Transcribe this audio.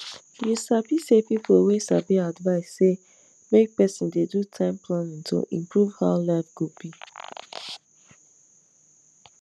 you sabi say people wey sabi advise say make person dey do time planning to improve how life go be